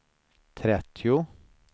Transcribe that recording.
trettio